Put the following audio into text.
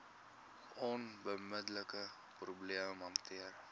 onmiddelike probleem hanteer